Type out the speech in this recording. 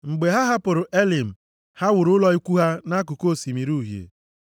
Mgbe ha hapụrụ Elim, ha wuru ụlọ ikwu ha nʼakụkụ Osimiri Uhie.